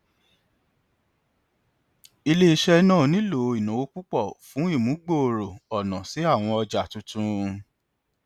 iléiṣẹ náà nílò ìnáwó púpọ fún ìmúgbòòrò ọnà sí àwọn ọjà tuntun